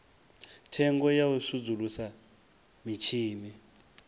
thengo ya u sudzulusa mitshini